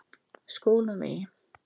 Skólavegi